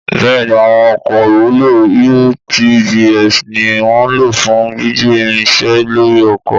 Bẹ́ẹ̀ni, àwọn ọkọ̀ ìwúlò (UTVs) ni wọ́n ń lò fún gbígbé irinṣẹ́ lórí oko.